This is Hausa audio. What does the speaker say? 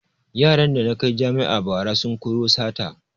Yaran da na kai jami'a bara sun koyo sata